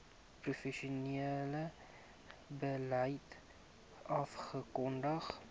provinsiale beleid afgekondig